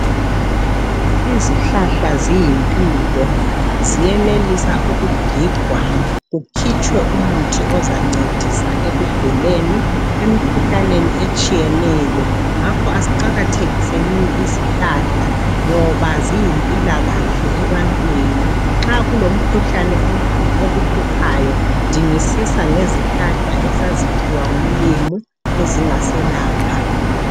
Izihlahla ziyimpilo, ziyenelisa ukugigwa kukhitshwe umuthi ozancedisa ekuguleni emkhuhlaneni etshiyeneyo. Ngakho asiqakathekisenini izihlahla ngoba ziyimpilakahle ebantwini. Nxa kulomkhuhlane okuhluphayo, dingisisa ngezihlahla esaziphiwa nguMlimu ezingaselapha.